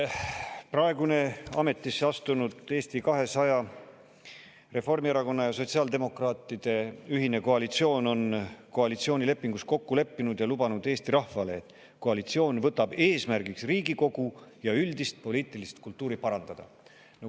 Praegune ametisse astunud Eesti 200, Reformierakonna ja sotsiaaldemokraatide ühine koalitsioon on koalitsioonilepingus kokku leppinud ja lubanud Eesti rahvale, et koalitsioon võtab eesmärgiks Riigikogu ja üldist poliitilist kultuuri parandada.